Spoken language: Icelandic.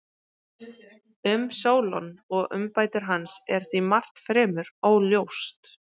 Um Sólon og umbætur hans er því margt fremur óljóst.